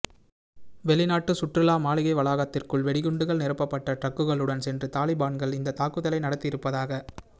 வெளிநாட்டு சுற்றுலா மாளிகை வளாகத்திற்குள் வெடிகுண்டுகள் நிரப்பப்பட்ட டிரக்குகளுடன் சென்று தாலிபன்கள் இந்த தாக்குதலை நடத்தி இருப்பதாக